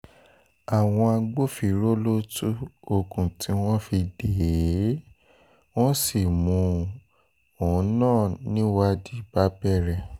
àwọn agbófinró ló tú okùn tí wọ́n fi dè é wọ́n sì mú òun náà níwádìí bá bẹ̀rẹ̀